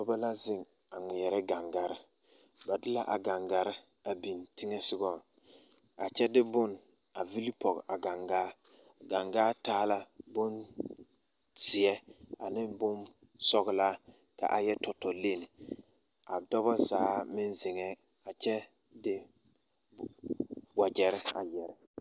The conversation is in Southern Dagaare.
Nobɔ la zeŋ a ngmeɛɛrɛ gaŋgarre ba de la a gaŋgarre a biŋ teŋɛsugɔŋ a kyɛ de bon a vilipɔge a gaŋgaa gaŋgaa taa la bonzeɛ ane bonsɔglaa ka a yɛ tɔtɔ lenne a dɔbɔ zaa meŋ zeŋɛɛ a kyɛ de wagyɛre a gyire.